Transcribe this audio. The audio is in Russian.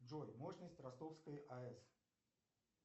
джой мощность ростовской аэс